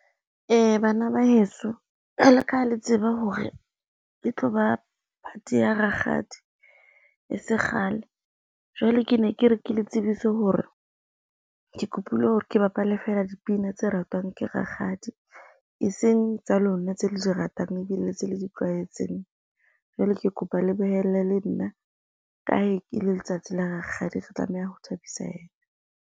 Bana ba heso jwale ka ha le tseba hore e tloba phate ya rakgadi e se kgale. Jwale ke ne ke re ke le tsebise hore, ke kopile hore ke bapale fela dipina tse ratwang ke rakgadi e seng tsa lona, tse le di ratang ebile tse le di tlwaetseng. Jwale ke kopa le behelle le nna ka ha e le letsatsi la rakgadi re tlo tlameha ho thabisa yena.